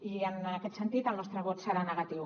i en aquest sentit el nostre vot serà negatiu